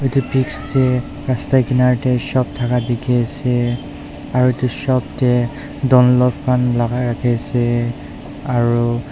eto pics teh rasta kinar teh shop taka toh teki ase aro eto shop teh dunlop kan laga raki asee aro.